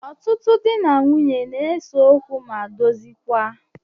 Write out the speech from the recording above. Ọtụtụ dị na nwunye n'ese ókwú ma dozikwaa.